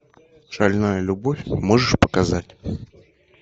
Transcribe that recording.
шальная любовь можешь показать